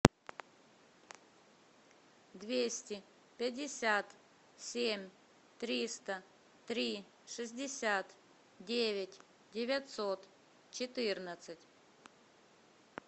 двести пятьдесят семь триста три шестьдесят девять девятьсот четырнадцать